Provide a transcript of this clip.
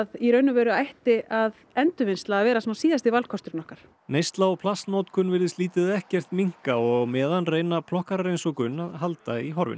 í raun og veru ætti endurvinnsla að vera síðasti valkosturinn okkar neysla og plastnotkun virðist lítið eða ekkert minnka og á meðan reyna plokkarar eins og gunn að halda í horfinu